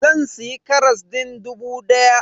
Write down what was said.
Zan siya karas din dubu daya.